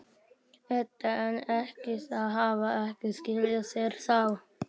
Edda: En ekki, þau hafa ekki skilað sér þá?